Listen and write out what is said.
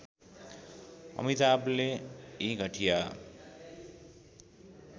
अमिताभले यी घटिया